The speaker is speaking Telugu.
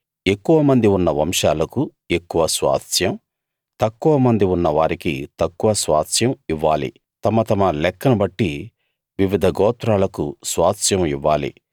ఎక్కువమంది ఉన్న వంశాలకు ఎక్కువ స్వాస్థ్యం తక్కువమంది ఉన్నవారికి తక్కువ స్వాస్థ్యం ఇవ్వాలి తమ తమ లెక్కను బట్టి వివిధ గోత్రాలకు స్వాస్థ్యం ఇవ్వాలి